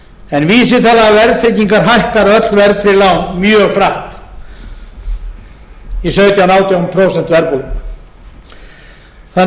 en vísitala verðtryggingar hækkar öll verðtryggð lán mjög hratt í sautján til átján prósent verðbólgu við